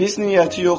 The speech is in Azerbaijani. Pis niyyəti yoxdur.